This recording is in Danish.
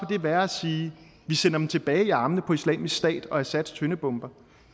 kan være at sige at vi sender dem tilbage i armene på islamisk stat og assads tøndebomber